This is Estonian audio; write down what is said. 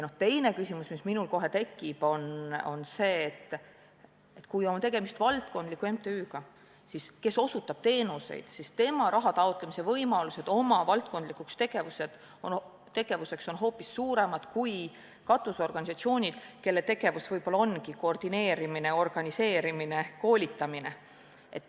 Teine küsimus, mis minul kohe tekib, on see, et kui on tegemist valdkondliku MTÜ-ga, kes osutab teenuseid, siis tema rahataotlemise võimalused oma valdkondlikuks tegevuseks on hoopis suuremad kui katusorganisatsioonil, kelle tegevus võib-olla ongi koordineerimine, organiseerimine, koolitamine.